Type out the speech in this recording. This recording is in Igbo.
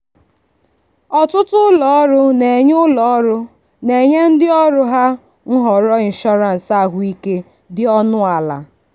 ọtụtụ ụlọọrụ na-enye ụlọọrụ na-enye ndị ọrụ ha nhọrọ inshọrans ahụike dị ọnụ ala. um